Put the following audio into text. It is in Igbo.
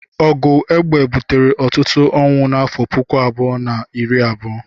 Ọgụ egbe butere ọtụtụ onwụ n'afọ puku abụọ na iri abuo.